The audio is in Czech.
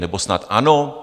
Nebo snad ano?